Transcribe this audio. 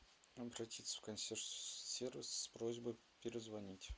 обратиться в консьерж сервис с просьбой перезвонить